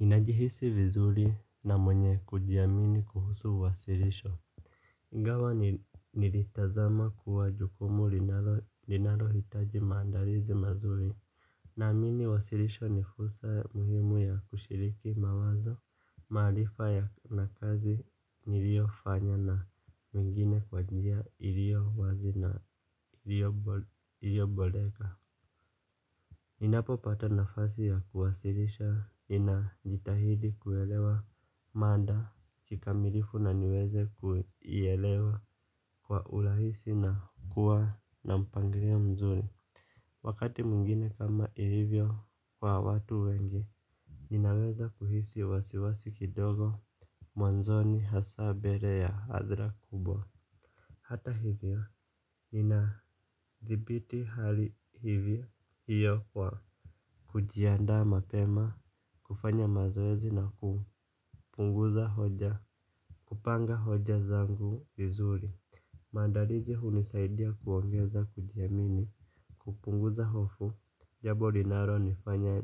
Ninajihisi vizuri na mwenye kujiamini kuhusu wasirisho. Ingawa nilitazama kuwa jukumu linalohitaji maandalizi mazuri. Naamini wasirisho ni fursa muhimu ya kushiriki mawazo. Maarifa ya na kazi niliyofanya na mengine kwa njia ilio wazi na ilio boleka. Ninapopata nafasi ya kuwasirisha ninajitahidi kuelewa mada kikamilifu na niweze kuelewa kwa ulahisi na kuwa na mpangirio mzuri. Wakati mwengine kama ilivyo kwa watu wengi ninaweza kuhisi wasiwasi kidogo mwanzoni hasa bere ya hadhira kubwa. Hata hivyo ninathibiti hali hivyo hiyo kwa kujiandaa mapema, kufanya mazoezi na kupunguza hoja, kupanga hoja zangu vizuri. Maandarizi hunisaidia kuongeza kujiamini, kupunguza hofu, jabo rinaronifanya